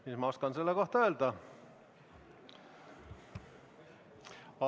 Mis ma oskan selle kohta öelda?